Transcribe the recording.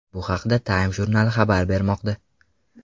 Bu haqda Time jurnali xabar bermoqda .